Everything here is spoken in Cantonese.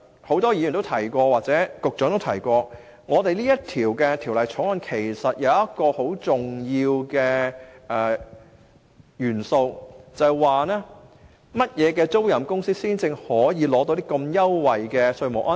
很多議員或局長亦提到，《條例草案》訂定一個很重要的元素，以決定甚麼租賃公司可取得這優惠的稅務安排。